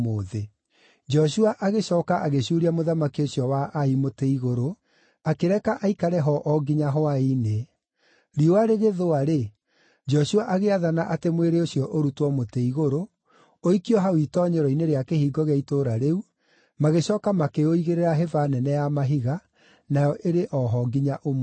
Joshua agĩcooka agĩcuuria mũthamaki ũcio wa Ai mũtĩ igũrũ, akĩreka aikare ho o nginya hwaĩ-inĩ. Riũa rĩgĩthũa-rĩ, Joshua agĩathana atĩ mwĩrĩ ũcio ũrutwo mũtĩ igũrũ, ũikio hau itoonyero-inĩ rĩa kĩhingo gĩa itũũra rĩu, magĩcooka makĩũigĩrĩra hĩba nene ya mahiga, nayo ĩrĩ o ho nginya ũmũthĩ.